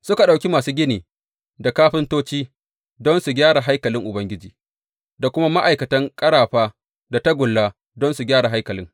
Suka ɗauki masu gini da kafintoci don su gyara haikalin Ubangiji, da kuma ma’aikatan ƙarafa da tagulla don su gyara haikalin.